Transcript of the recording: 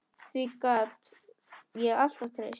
Því gat ég alltaf treyst.